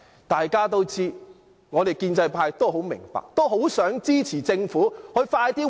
大家都知道，我們建制派都很明白，很想支持政府盡快覓地建屋。